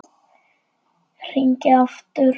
Hringi aftur!